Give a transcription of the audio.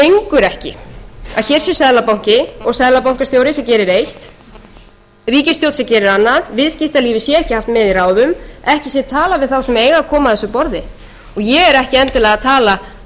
ekki að hér sé seðlabanki og seðlabankastjóri sem gerir eitt ríkisstjórn sem gerir annað viðskiptalífið sé haft með í ráðum ekki sé talað við þá sem eiga að koma að þessu borði og ég er ekki endilega að tala um